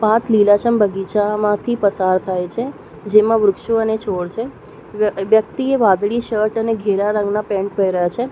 Path લીલાછમ બગીચા માંથી પસાર થાય છે જેમાં વૃક્ષો અને છોડ છે વ્ય વ્યક્તિએ વાદળી શર્ટ અને ઘેરા રંગના પેન્ટ પેર્યા છે.